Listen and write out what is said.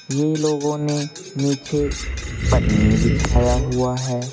ये लोगों ने नीचे पन्नी बिछाया हुआ है।